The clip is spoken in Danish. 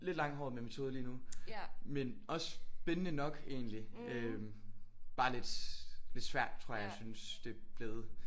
Lidt langhåret med metode lige nu men også spændende nok egentlig øh bare lidt svært tror jeg jeg synes det er blevet